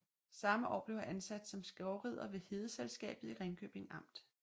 Samme år blev han ansat som skovrider ved Hedeselskabet i Ringkøbing Amt